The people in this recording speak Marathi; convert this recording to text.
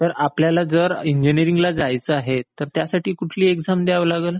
तर आपल्याला जर इंजिनियरिंग ला जायचं आहे तर त्यासाठी कुठली एक्साम द्यावी लागेल?